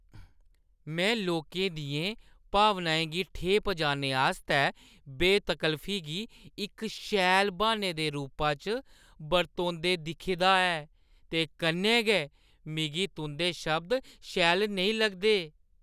में लोकें दियें भावनाएं गी ठेह् पजाने आस्तै बेतकल्लफी गी इक शैल ब्हान्ने दे रूपा च बरतोंदे दिक्खे दा ऐ ते कन्नै गै, मिगी तुंʼदे शब्द शैल नेईं लगदे ।